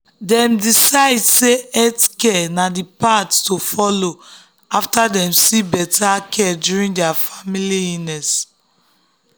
dem decide say healthcare um na the path to um follow after dem see better care during their family illness.